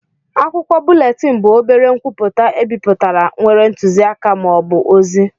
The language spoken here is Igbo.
Akwụkwọ búlétin bụ obere nkwupụta ebipụtara nwere ntuziaka ma ọ bụ ozi